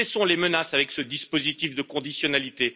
Cessons les menaces avec ce dispositif de conditionnalité.